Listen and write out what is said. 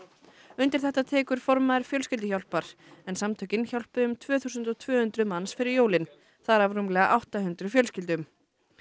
undir þetta tekur formaður Fjölskylduhjálpar en samtökin hjálpuðu um tvö þúsund tvö hundruð manns fyrir jólin þar af rúmlega átta hundruð fjölskyldum